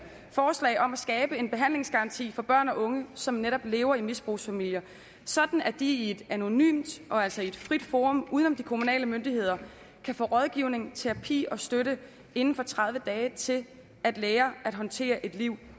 forslag om at skabe en behandlingsgaranti for børn og unge som netop lever i misbrugsfamilier sådan at de i et anonymt og altså i et frit forum uden om de kommunale myndigheder kan få rådgivning terapi og støtte inden for tredive dage til at lære at håndtere et liv